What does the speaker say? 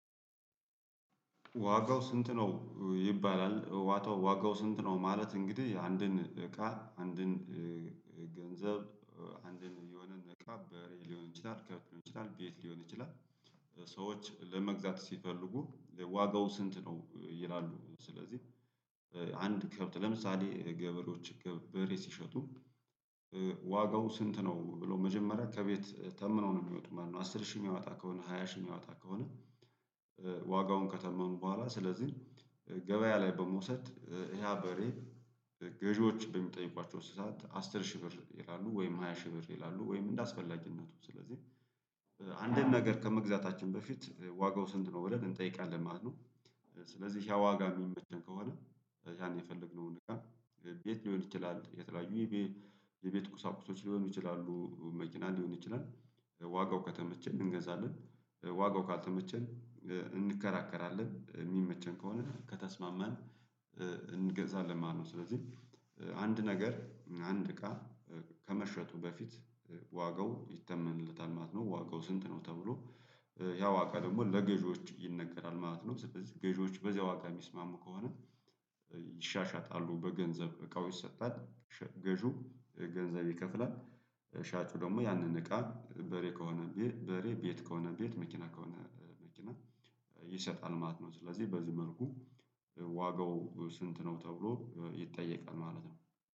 ዋጋው ስንት ነው ይባላል? ዋጋው ስንት ነው ማለት? እንግዲህ አንድን እቃ አንድን ገንዘብ አንድን የሆነን እቃ በሬ ሊሆን ይችላል ከብት ሊሆን ይችላል ቤት ሊሆን ይችላል። ሰዎች ለመግዛት ሲፈልጉ ዋጋው ስንት ነው ይላሉ ስለዚህ። አንድ ከብት ለምሳሌ ገበሬዎች በሬ ሲሸጡ ዋጋው ስንት ነው ብሎ መጀመሪያ ከቤት ተምነው ነው የሚወጡ ማለት ነው። አስር ሺህ የሚያወጣ ከሆነ ሃያ ሺህ የሚያወጣ ከሆነ። ዋጋውን ከተመኑ በኋላ ስለዚህ ገበያ ላይ በመውሰድ ያህ በሬ ገዢዎች በሚጠይቋቸው ሰዓት አስር ሺህ ብር ይላሉ ወይም ሃያ ሺህ ብር ይላሉ ወይም እንደ አስፈላጊነቱ ስለዚህ። አንድን ነገር ከመግዛታችን በፊት ዋጋው ስንት ነው ብለን እንጠይቃለን ማለት ነው። ስለዚህ ያ ዋጋ የሚመቸን ከሆነ ያን የፈለግነውን እቃ ቤት ሊሆን ይችላል የተለያዩ የቤት ቁሳቁሶች ሊሆኑ ይችላሉ መኪና ሊሆን ይችላል። ዋጋው ከተመቸን እንገዛለን። ዋጋው ካልተመቸን እንከራከራለን የሚመቸን ከሆነ ከተስማማን እንገዛለን ማለት ነው። ስለዚህ አንድ ነገር አንድ እቃ ከመሸጡ በፊት ዋጋው ይተመንለታል ማለት ነው ዋጋው ስንት ነው ተብሎ ያዋጋ ደግሞ ለገዢዎች ይነገራል ማለት ነው። ስለዚህ ገዢዎች በዚያ ዋጋ የሚስማሙ ከሆነ በገንዘብ እቃው ይሰጣል። ገዢው ገንዘብ ይከፍላል። ሻጩ ደግሞ ያንን እቃ በሬ ከሆነ በሬ ቤት ከሆነ ቤት መኪና ከሆነ መኪና ይሰጣል ማለት ነው። ስለዚህ በዚህ መልኩ ዋጋው ስንት ነው ተብሎ ይጠየቃል ማለት ነው